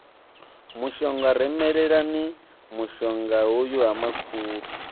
mushonga rumelani mushongahoyu ha makhulu